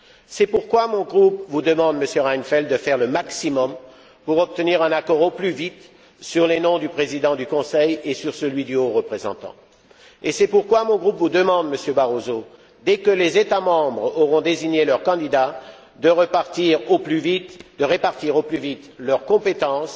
C'est pourquoi mon groupe vous demande, Monsieur Reinfeldt, de faire le maximum pour obtenir un accord au plus vite sur les noms du président du Conseil et du haut représentant, et c'est pourquoi mon groupe vous demande, Monsieur Barroso, dès que les États membres auront désigné leurs candidats, de répartir au plus vite leurs compétences,